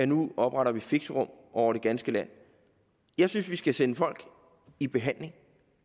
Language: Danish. nu at oprette fixerum over det ganske land jeg synes vi skal sende folk i behandling og